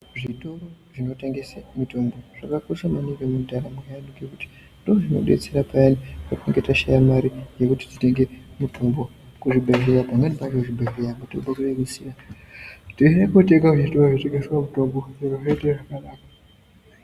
Zvitoro zvinotengesa mitombo zvakakosha maningi mundaraunda ngekuti ndozvinodetsera payani patinenge tashaya mare yekutenga mare kuzvibhedhlera pamweni pacho zvibhedhlera mitombo kunenge kusina tinoenda kotenga mitombo kunotengeswa mitombo zviro zvoite zvakanaka.